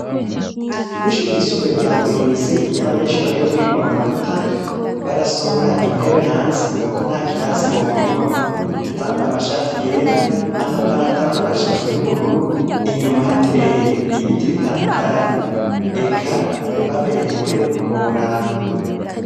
Kwishure ryisumbuye rya murinzi iyo abanyeshure bagiye kubwirwa amanota barasohora intebe hanze kuko ntakirasi bokwiramwo bambaye amashati yera amapantaro namajipo yubururu inyuma hateye ibiti bitandukanye eka baberewe ntiworaba